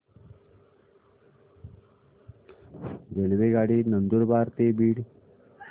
रेल्वेगाडी नंदुरबार ते बीड